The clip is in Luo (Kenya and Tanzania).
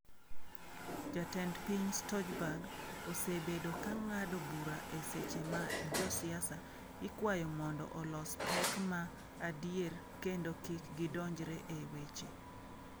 Jatend piny Stojberg osebedo ka ng’ado bura e seche ma josiasa ikwayo mondo olos pek ma adier kendo kik gidonjre e weche.